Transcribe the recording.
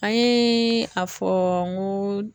An yee a fɔ n go